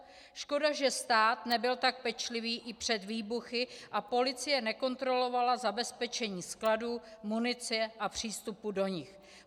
Škoda, že stát nebyl tak pečlivý i před výbuchy a policie nekontrolovala zabezpečení skladů, munice a přístupu do nich.